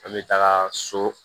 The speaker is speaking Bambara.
An bɛ taga so